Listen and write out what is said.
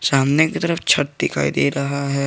सामने की तरफ छत दिखाई दे रहा है।